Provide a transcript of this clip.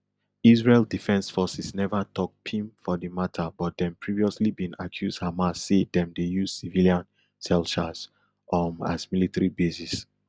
israel defense forces neva tok pim for di mata but dem previously bin accuse hamas say dem dey use civilian shelters um as military bases